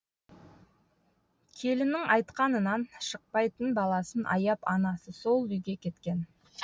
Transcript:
келіннің айтқанынан шықпайтын баласын аяп анасы сол үйге кеткен